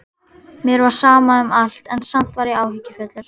Mér var sama um allt, en samt var ég áhyggjufullur.